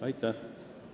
Aitäh!